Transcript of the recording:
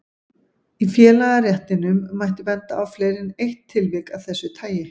Í félagaréttinum mætti benda á fleiri en eitt tilvik af þessu tagi.